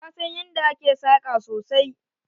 Ta san yanda ake saƙa sosai.